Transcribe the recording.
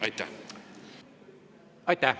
Aitäh!